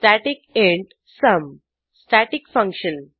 static int sum static function